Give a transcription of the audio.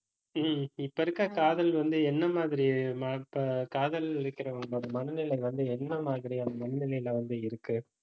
ஹம் இப்ப இருக்க காதல் வந்து, என்ன மாதிரி மாற்ற~ காதலிக்கிறவங்களோட மனநிலை வந்து, என்ன மாதிரியான மனநிலையில வந்து இருக்கு